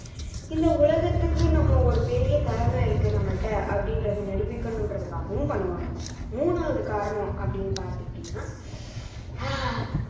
இந்த உலகத்துக்கு நம்ம ஒரு பெரிய திறமை இருக்கு நம்மள்ட்ட அப்படின்றதை நிரூபிக்கணும்ன்றதுக்காகவும் பண்ணுவாங்க மூணாவது காரணம் அப்படின்னு பார்த்துக்கிட்டீங்கன்னா ஆஹ்